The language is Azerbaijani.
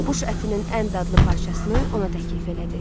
Quş ətinin ən dadlı parçasını ona təklif elədi.